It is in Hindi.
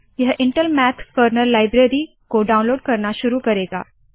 यह इंटेल मैथ कर्नल लाइब्रेरी को डाउनलोड करना शुरू करेगा